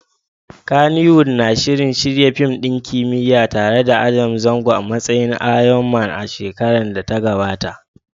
Kannywood na shirin shirya fim ɗin kimiyya tare da Adam Zango a matsayin Iron Man a shekarar da ta gabata.